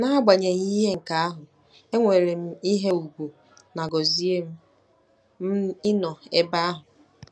N'agbanyeghị nke ahụ, enwere m ihe ùgwù na gọzie m m ịnọ ebe ahụ.